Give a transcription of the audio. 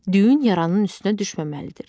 Düyün yaranın üstünə düşməməlidir.